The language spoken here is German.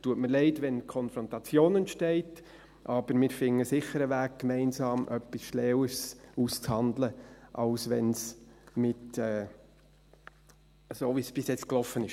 Es tut mir leid, wenn Konfrontation entsteht, aber wir finden sicher einen Weg, gemeinsam etwas Schlaueres auszuhandeln als so, wie es bis jetzt gelaufen ist.